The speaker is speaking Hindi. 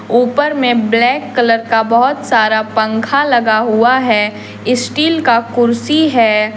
ऊपर में ब्लैक कलर का बहोत सारा पंख लगा हुआ है स्टील का कुर्सी है।